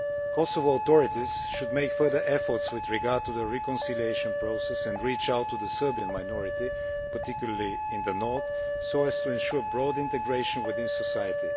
Kosovo authorities should make further efforts with regard to the reconciliation process and reach out to the Serbian minority, particularly in the North, so as to ensure broad integration within society.